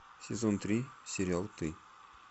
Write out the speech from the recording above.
сезон три сериал ты